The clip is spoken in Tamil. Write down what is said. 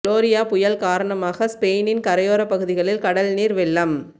குளோரியா புயல் காரணமாக ஸ்பெயினின் கரையோரப் பகுதிகளில் கடல் நீர் வெள்ளம்